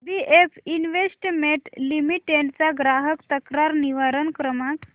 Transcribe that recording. BF investment limited चा ग्राहक तक्रार निवारण क्रमांक